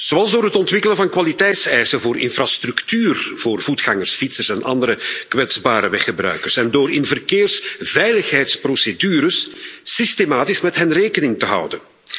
Zoals door het ontwikkelen van kwaliteitseisen voor infrastructuur voor voetgangers, fietsers en andere kwetsbare weggebruikers en door in verkeersveiligheidsprocedures systematisch met hen rekening te houden.